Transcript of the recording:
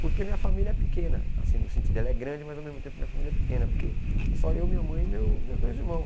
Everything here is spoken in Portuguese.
Porque minha família é pequena, assim, no sentido, ela é grande, mas ao mesmo tempo minha família é pequena, porque é só eu, minha mãe e meu meus dois irmãos.